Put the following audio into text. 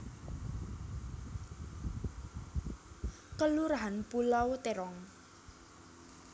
Kelurahan Pulau Terong